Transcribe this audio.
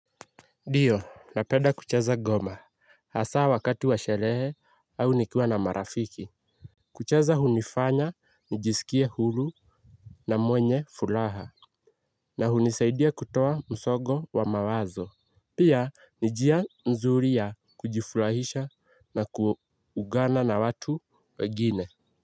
Ndiyo napenda kucheza ngoma hasa wakati wa sherehe au nikiwa na marafiki. Kucheza hunifanya nijisikie huru na mwenye furaha. Na hunisaidia kutoa msongo wa mawazo. Pia ni njia mzuri ya kujifurahisha na kuugana na watu wengine.